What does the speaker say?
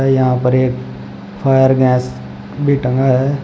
यहां पर एक फायर गैस भी टंगा है।